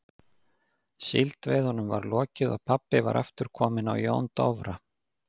Síldveiðunum var lokið og pabbi var aftur kominn á Jón Dofra.